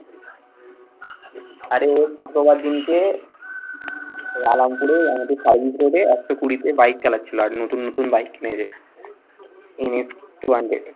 অরে ওর শুক্রবার দিনকে পুর এ আমাদের service road এ একশো কুড়িতে bike চালাচ্ছিল। আর নতুন নতুন bike কিনেছে NS two hundred